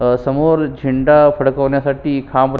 समोर झेंडा फडकवण्यासाठी खांब--